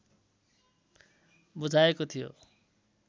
बुझाएको थियो